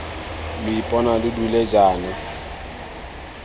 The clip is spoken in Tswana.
lo ipona lo dule jaana